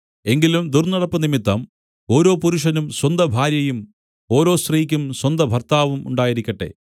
എങ്കിലും ദുർന്നടപ്പ് നിമിത്തം ഓരോ പുരുഷനും സ്വന്തഭാര്യയും ഓരോ സ്ത്രീക്കും സ്വന്തഭർത്താവും ഉണ്ടായിരിക്കട്ടെ